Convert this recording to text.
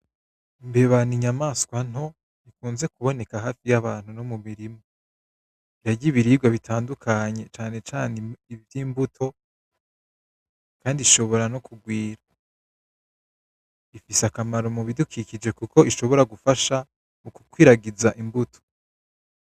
Mbebana inyamaswa nto ikunze kuboneka hafi y'abantu no mu mirimo iragya ibirirwa bitandukanye canecane ivyo imbuto, kandi ishobora no kugwira ifise akamaro mu bidukikije, kuko ishobora gufasha mu kukwiragiza imbuto.